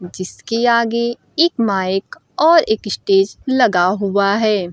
जिसके आगे एक माइक और एक स्टेज लगा हुआ है।